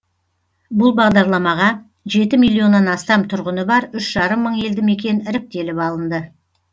бұл бағдарламаға жеті миллионнан астам тұрғыны бар үш жарым мың елді мекен іріктеліп алынды